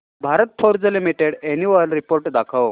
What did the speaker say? Bharat Forge Limited annual report दाखव